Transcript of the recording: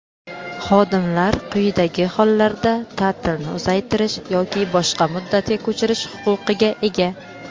Xodimlar quyidagi hollarda taʼtilni uzaytirish yoki boshqa muddatga ko‘chirish huquqiga ega:.